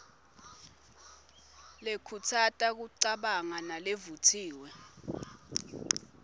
lekhutsata kucabanga nalevutsiwe